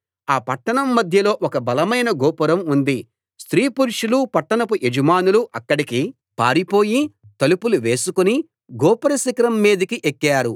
ఆ పట్టణం మధ్యలో ఒక బలమైన గోపురం ఉంది స్త్రీ పురుషులు పట్టణపు యజమానులు అక్కడికి పారిపోయి తలుపులు వేసుకుని గోపుర శిఖరం మీదకు ఎక్కారు